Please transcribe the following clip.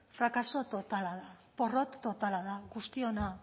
frakaso totala da porrot totala da guztiona